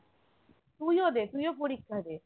তুইও দে তুইও পরীক্ষা দে